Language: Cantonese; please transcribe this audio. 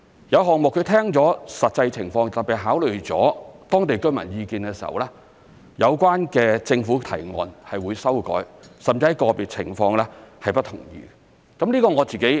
有項目聽了實際情況，特別是考慮了當地居民意見的時候，有關的政府提案是會修改，甚至在個別情況是不同意的。